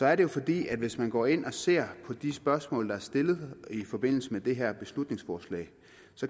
er det jo fordi hvis man går ind og ser på de spørgsmål der er stillet i forbindelse med det her beslutningsforslag